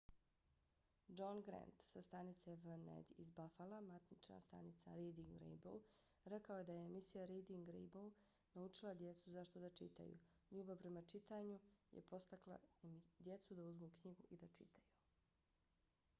john grant sa stanice wned iz buffala matična stanica reading rainbow rekao je da je emisija reading rainbow naučila djecu zašto da čitaju...ljubav prema čitanju - [emisija] je potakla djecu da uzmu knjigu i da čitaju.